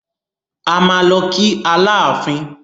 A máa lọ kí Aláàfin.